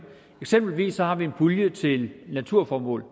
eksempelvis har vi en pulje til naturformål